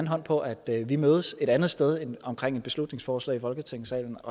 hånd på at vi mødes et andet sted end omkring et beslutningsforslag i folketingssalen